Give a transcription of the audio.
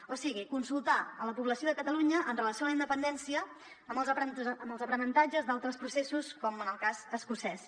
o sigui consultar a la població de catalunya amb relació a la independència amb els aprenentatges d’altres processos com en el cas escocès